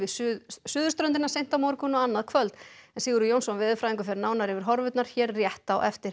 suðurströndina seint á morgun og annað kvöld Sigurður Jónsson fer nánar yfir horfurnar hér rétt á eftir